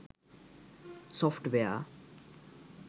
software